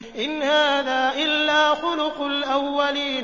إِنْ هَٰذَا إِلَّا خُلُقُ الْأَوَّلِينَ